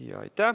Aitäh!